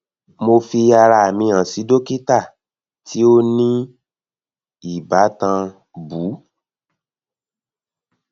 mo fi ara mi han si dokita ti o ni ibatan bu